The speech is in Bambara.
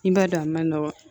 I b'a dɔn a ma nɔgɔn